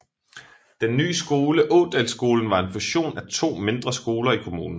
Den ny skole Ådalsskolen var en fusion af to mindre skoler i kommunen